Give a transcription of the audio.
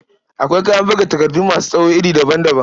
Akwai kayan buga takardu masu tsawo iri daban-daban.